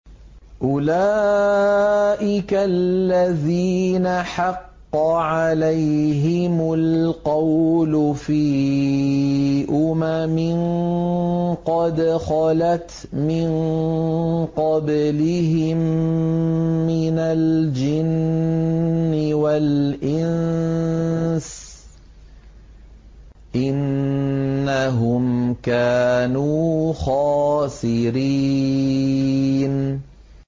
أُولَٰئِكَ الَّذِينَ حَقَّ عَلَيْهِمُ الْقَوْلُ فِي أُمَمٍ قَدْ خَلَتْ مِن قَبْلِهِم مِّنَ الْجِنِّ وَالْإِنسِ ۖ إِنَّهُمْ كَانُوا خَاسِرِينَ